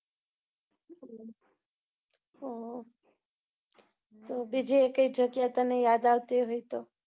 હમ બીજી એકેય જગ્યા તને યાદ આવતી હોય તો?